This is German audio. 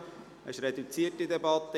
Wir führen eine reduzierte Debatte.